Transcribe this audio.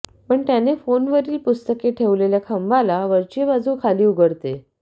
पण त्याने फोनवरील पुस्तके ठेवलेल्या खांबाला वरची बाजू खाली उघडते